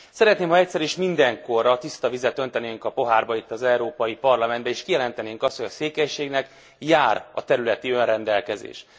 Szeretném, ha egyszer és mindenkorra tiszta vizet öntenénk a pohárba itt, az Európai Parlamentbe, és kijelentenénk azt, hogy a székelységnek jár a területi önrendelkezés.